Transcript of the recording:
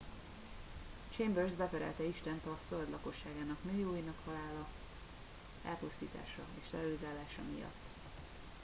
"chambers beperelte istent "a föld lakosságának millióinak halála elpusztítása és terrorizálása" miatt.